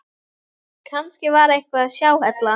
Kannski var eitthvað að hjá Halla.